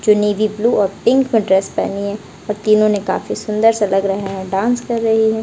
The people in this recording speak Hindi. चुन्नी भी ब्लू और पिंक ड्रेस पहनी है और तीनो ने काफी सुंदर सा लग रहे हैं डांस कर रही है।